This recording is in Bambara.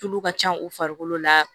Tulu ka can u farikolo la